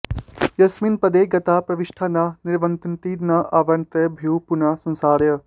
यस्मिन् पदे गताः प्रविष्टाः न निवर्तन्ति न आवर्तन्ते भूयः पुनः संसाराय